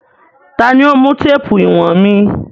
Ta ni ó mú téèpù ìwọ̀n mi.